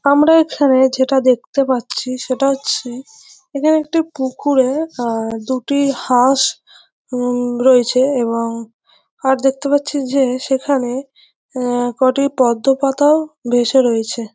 আমরা এখানে যেটা দেখতে পাচ্ছি সেটা হচ্ছে এখানে একটি পুকুরে আহ দুটি হাঁস অম রয়েছে এবং আর দেখতে পাচ্ছি যে সেখানে আহ কয়টি পদ্ম পাতাও ভেসে রয়েছে।